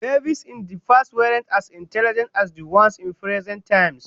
Babies in the past weren't as intelligent as the ones in present times